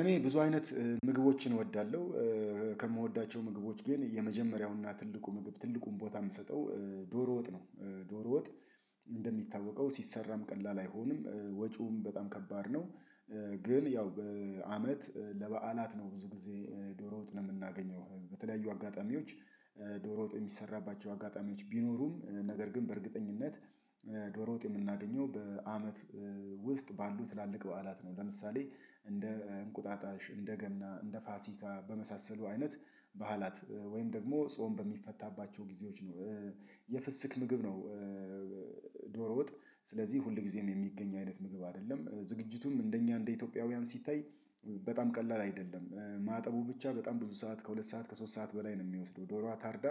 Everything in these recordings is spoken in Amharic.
እኔ ብዙ አይነት ምግቦችን እወዳለሁ። ከምወዳቸው ምግቦች ግን የመጀመሪያውን እና ትልቁ ምግብ ትልቁን ቦታ የምሰጠው ዶሮ ወጥ ነው። ዶሮ ወጥ እንደሚታወቀው ሲሠራም ቀላል አይሆንም ወጪውም በጣም ከባድ ነው። ግን ያው በአመት ለበዓላት ነው ብዙ ጊዜ ዶሮ ወጥ ነው የምናገኘው በተለያዩ አጋጣሚዎች። ዶሮ ወጥ የሚሰራባቸው አጋጣሚዎች ቢኖሩም ነገር ግን በእርግጠኝነት ዶሮ ወጥ የምናገኘው በአመት ውስጥ ባሉ ትላልቅ በዓላት ነው። ለምሳሌ እንደ እንቁጣጣሽ እንደ ገና እንደ ፋሲካ በመሳሰሉ አይነት በዓላት ወይም ደግሞ ጾም በሚፈታባቸው ጊዜዎች ነው። የፍስክ ምግብ ነው። ዶሮ ወጥ ስለዚህ ሁል ጊዜ ነው የሚገኝ አይነት ምግብ አይደለም። ዝግጅቱም እንደኛ እንደ ኢትዮጵያውያን ሲታይ በጣም ቀላል አይደለም። ማጠቡ ብቻ በጣም ብዙ ሰዓት ከሁለት ሰዓት ከሶስት ሰዓት በላይ ነው የሚወስደው ዶሮዋ ታርዳ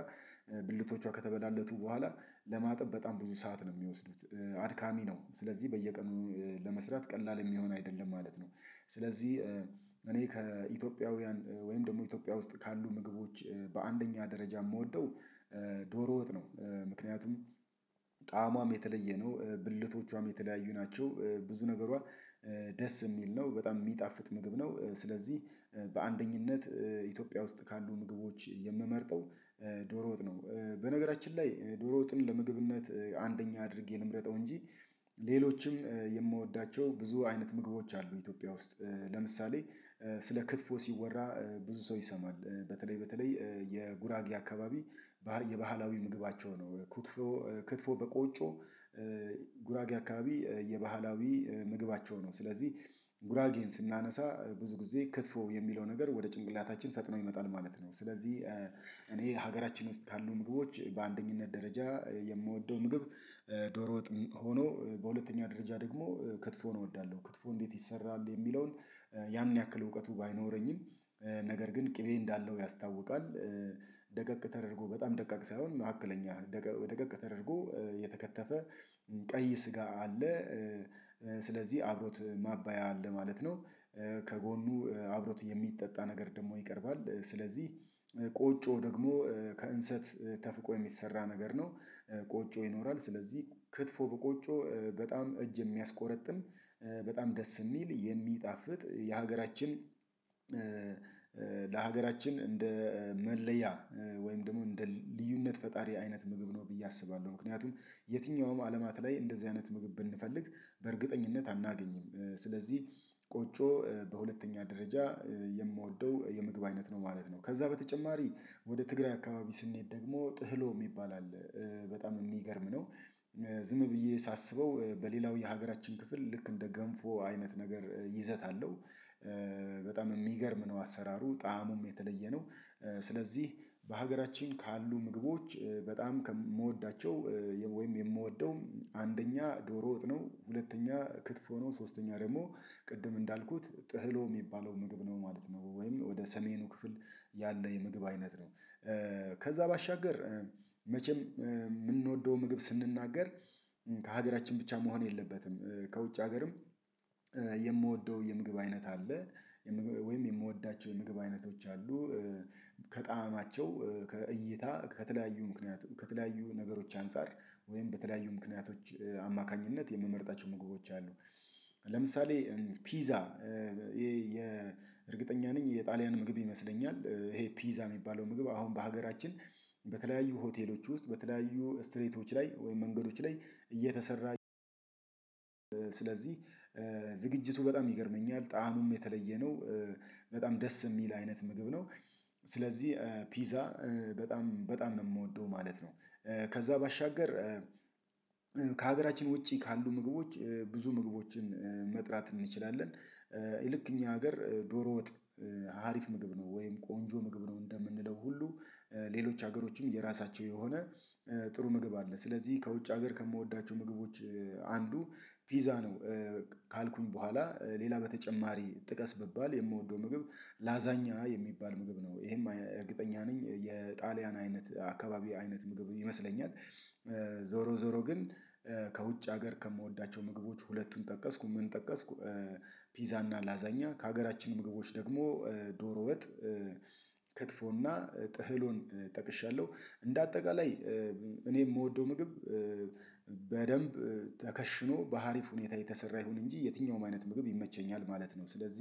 ብልቶቿ ከተበላለቱ በኋላ ለማጠብ በጣም ብዙ ሰዓት ነው የሚወስዱት። አድካሚ ነው ስለዚህ በየቀኑ ለመስራት ቀላል የሚሆን አይደለም ማለት ነው። ስለዚህ እኔ ከኢትዮጵያውያን ወይም ደግሞ ኢትዮጵያ ውስጥ ካሉ ምግቦች በአንደኛ ደረጃ የምወደው ዶሮወጥ ነው። ምክንያቱም ጣዕሟም የተለየ ነው። ብልቶቿም የተለያዩ ናቸው። ብዙ ነገሯ ደስ የሚል ነው በጣም የሚጣፍጥ ምግብ ነው። ስለዚህ በአንደኝነት ኢትዮጵያ ውስጥ ካሉ ምግቦች የምመርጠው ዶሮ ወጥ ነው። በነገራችን ላይ ዶሮ ወጥን ለምግብነት አንደኛ አድርጌ ልምረጠው እንጂ ሌሎችም የምወዳቸው ብዙ አይነት ምግቦች አሉ። ኢትዮጵያ ውስጥ ለምሳሌ ስለ ክትፎ ሲወራ ብዙ ሰው ይሰማል በተለይ በተለይ የጉራጌ አካባቢ ባህ የባህላዊ ምግባቸው ነው ክትፎ ክትፎ በቆጮ ጉራጌ አካባቢ የባህላዊ ምግባቸው ነው። ስለዚህ ጉራጌን ስናነሳ ብዙ ጊዜ ክትፎ የሚለው ነገር ወደ ጭንቅላታችን ፈጥኖ ይመጣል ማለት ነው። ስለዚህ እኔ ሀገራችን ውስጥ ካሉ ምግቦች በአንደኝነት ደረጃ የምወደው ምግብ ዶሮወጥ ሆኖ በሁለተኛ ደረጃ ደግሞ ክትፎን እወዳለሁ። ክትፎ እንዴት ይሰራል የሚለውን ያን ያክል እውቀቱ ባይኖረኝም ነገር ግን ቅቤ እንዳለው ያስታውቃል። ደቀቅ ተደርጎ በጣም ደቀቅ ሳይሆን መካከለኛ ደቀቅ ተደርጎ የተከተፈ ቀይ ስጋ አለ። ስለዚህ አብሮት ማባያ አለ ማለት ነው። ከጎኑ አብሮት የሚጠጣ ነገር ደግሞ ይቀርባል። ስለዚህ ቆጮ ደግሞ ከእንሰት ተፍቆ የሚሰራ ነገር ነው። ቆጮ ይኖራል ስለዚህ ክትፎ በቆጮ በጣም እጅ የሚያስቆርጥም። በጣም ደስ የሚል የሚጣፍጥ የሀገራችን ለሀገራችን እንደ መለያ ወይም ደግሞ እንደ ልዩነት ፈጣሪ አይነት ምግብ ነው። ብዬ አስባለሁ ምክንያቱም የትኛውም ዓለማት ላይ እንደዚህ አይነት ምግብ ብንፈልግ በእርግጠኝነት አናገኝም። ስለዚህ ቆጮ በሁለተኛ ደረጃ የምወደው የምግብ አይነት ነው ማለት ነው። ከዛ በተጨማሪ ወደ ትግራይ አካባቢ ስንሄድ ደግሞ ጥህሎ የሚባል አለ በጣም የሚገርም ነው። ዝም ብዬ ሳስበው በሌላው የሀገራችን ክፍል ልክ እንደ ገንፎ አይነት ነገር ይዘት አለው። በጣም የሚገርም ነው አሠራሩ ጣእሙም የተለየ ነው። ስለዚህ በሀገራችን ካሉ ምግቦች በጣም ከምወዳቸው ወይም የምወደው አንደኛ ዶሮ ወጥነው ሁለተኛ ክትፎ ነው ሶስተኛ ደግሞ ቅድም እንዳልኩት ጥህሎ የሚባለው ምግብ ነው ማለት ነው ወይም ወደ ሰሜኑ ክፍል ያለ የምግብ አይነት ነው። ከዛ ባሻገር መቼም የምንወደው ምግብ ስንናገር ከሀገራችን ብቻ መሆን የለበትም። ከውጭ ሀገርም የምወደው የምግብ አይነት አለ። ወይም የምወዳቸው የምግብ አይነቶች አሉ። ከጣዕማቸው ከእይታ ከተለያዩ ምክንያት ከተለያዩ ነገሮች አንፃር ወይም በተለያዩ ምክንያቶች አማካኝነት የምመርጣቸው ምግቦች አሉ። ለምሳሌ ፒዛ የ የእርግጠኛ ነኝ የጣሊያን ምግብ ይመስለኛል። ይሄ ፒዛ የሚባለው ምግብ አሁን በሀገራችን በተለያዩ ሆቴሎች ውስጥ በተለያዩ ስትሬቶች ላይ ወይም መንገዶች ላይ እየተሠራ ስለዚህ ዝግጅቱ በጣም ይገርመኛል ጣእሙም የተለየ ነው። በጣም ደስ የሚል አይነት ምግብ ነው። ስለዚህ ፒዛ በጣም በጣም ነው የምወደው ማለት ነው። ከዛ ባሻገር ከሀገራችን ውጪ ካሉ ምግቦች ብዙ ምግቦችን መጥራት እንችላለን። ይልቅ እኛ ሀገር ዶሮ ወጥ አሪፍ ምግብ ነው ወይም ቆንጆ ምግብ ነው እንደምንለው ሁሉ። ሌሎች ሀገሮችም የራሳቸው የሆነ ጥሩ ምግብ አለ ስለዚህ ከውጭ ሀገር ከምወዳቸው ምግቦች አንዱ ፒዛ ነው። ካልኩኝ በኋላ ሌላ በተጨማሪ ጥቀስ ብባል የምወደው ምግብ ላዛኛ የሚባል ምግብ ነው። ይሄም እርግጠኛ ነኝ የጣሊያን አይነት አካባቢ አይነት ምግብ ይመስለኛል። ዞሮ ዞሮ ግን ከውጭ ሀገር ከምወዳቸው ምግቦች ሁለቱን ጠቀስኩ ምን ጠቀስኩ? ፒዛ እና ላዛኛ ከሀገራችን ምግቦች ደግሞ ዶሮ ወጥ። ክትፎና ጥህሎን ጠቅሻለሁ። እንደ አጠቃላይ እኔ የምወደው ምግብ በደንብ ተከሽኖ በሀሪፍ ሁኔታ የተሰራ ይሁን እንጂ የትኛውም አይነት ምግብ ይመቸኛል ማለት ነው። ስለዚህ